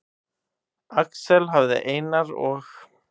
Axel hafði Einar og